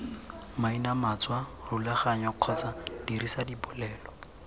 mainamatswa rulaganya kgotsa dirisa dipolelo